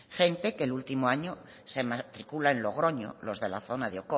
gente que el último año se matricula en logroño los de la zona de